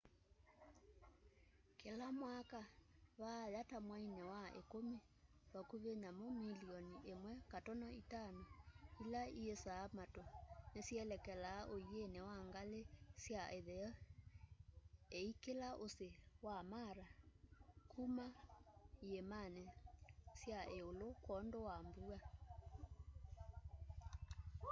kila mwaka vaaya ta mwaini wa ikumi vakuvi nyamu milioni 1.5 ila iisaa matu nisyelekelaa uini wa ngali sya itheo iikila usi wa mara kuma iimani sya iulu kwoondu wa mbua